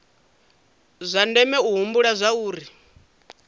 zwa ndeme u humbula zwauri